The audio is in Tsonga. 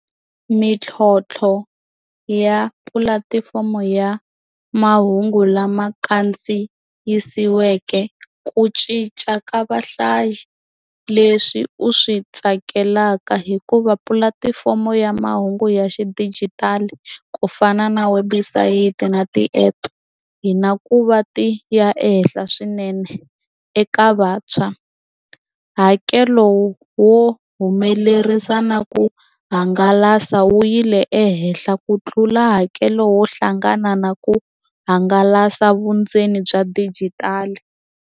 Mintlhontlho ya pulatifomo ya mahungu lama kandziyisiweke ku cinca ka vahlayi leswi u swi tsakelaka hikuva pulatifomo ya mahungu ya xidijitali ku fana na website na ti-app hi na ku va ti ya ehenhla swinene eka vantshwa hakelo wo humelerisa na ku hangalasa wu yile ehenhla ku tlula hakelo wo hlangana na ku hangalasa vundzeni bya dijitali.